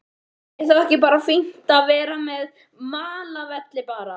Er þá ekki bara fínt að vera með malarvelli bara?